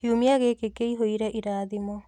Kiumia gĩkĩ kĩihũire irathimo